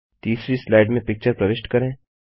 तीसरी स्लाइड में पिक्चर प्रविष्ट करें